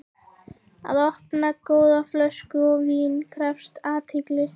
Að opna góða flösku af víni krefst athygli.